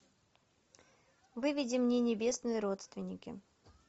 выведи мне небесные родственники